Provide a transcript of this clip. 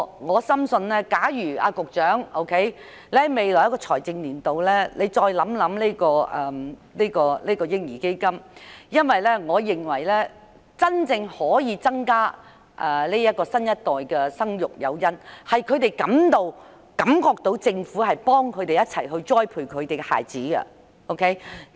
我深信局長應在未來一個財政年度，繼續探討設立嬰兒基金的事宜，因為這將可切實提高新一代父母生育子女的誘因，令他們感到政府會協助他們栽培子女。